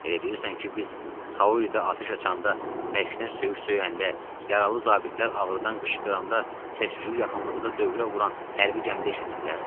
Elə bilirsən ki, biz Kauridə atəş açanda, bəkşdən söyüş söyəndə, yaralı zabitlər ağrıdan qışqıranda səs-küyü yaxınlığıda dövrə vuran hərbi gəmidə eşitmirlər?